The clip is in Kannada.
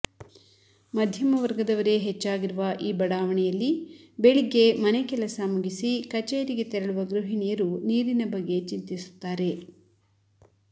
ಮಧ್ಯಮ ವರ್ಗದವರೇ ಹೆಚ್ಚಾಗಿರುವ ಈ ಬಡಾವಣೆಯಲ್ಲಿ ಬೆಳಿಗ್ಗೆ ಮನೆ ಕೆಲಸ ಮುಗಿಸಿ ಕಚೇರಿಗೆ ತೆರಳುವ ಗೃಹಿಣಿಯರು ನೀರಿನ ಬಗ್ಗೆ ಚಿಂತಿಸುತ್ತಾರೆ